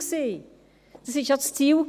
Es war ja auch das Ziel.